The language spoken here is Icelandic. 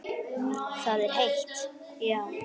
Það er heitt, já.